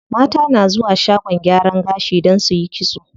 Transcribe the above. Mata na zuwa shagon gyaran gashi don suyi kitso.